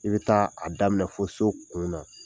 I bɛ taa a daminɛ fɔ so kun na.